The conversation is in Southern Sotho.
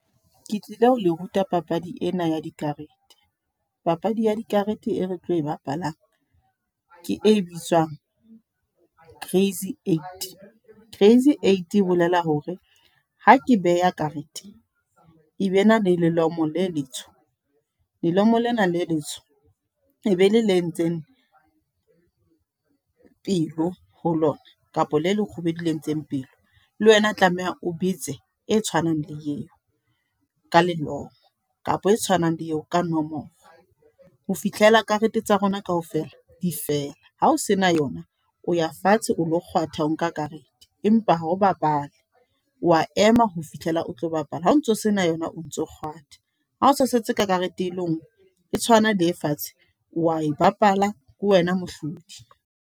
Ke tlile ho le ruta papadi ena ya dikarete. Papadi ya dikarete e re tlo e bapalang, ke e bitswang Crazy Eights. Crazy Eights e bolela hore ha ke beha karete, e be nale lelomo le letsho. Lelomo lena le letsoho, e be le le entseng pelo ho lona, kapa le lekgubedu, le entseng pelo. Le wena tlameha o betse e tshwanang le eo, ka leloko kapa e tshwanang le eo ka nomoro. Ho fihlela karete tsa rona kaofela di fela. Hao sena yona, o ya fatshe o lo kgwatha ho nka karete. Empa ho bapale, wa ema ho fihlela o tlo bapala. Ha o ntso sena yona o ntso kgwatha. Ha o sa setse ka karete e le nngwe. E tshwanang le e fatshe, wa e bapala ke wena mohlodi.